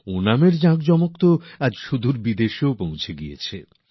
ওণাম উদযাপনের ঢেউ তো আজ দূরসুদূরের বিদেশেও লেগেছে